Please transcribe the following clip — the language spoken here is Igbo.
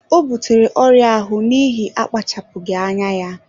Ọ butere ọrịa ahụ n'ihi akpachapụghị anya ya.